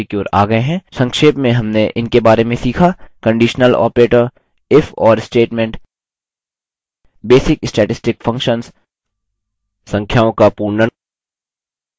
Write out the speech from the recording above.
संक्षेप में हमने इनके बारे में सीखा: